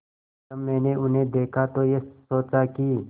जब मैंने उन्हें देखा तो ये सोचा कि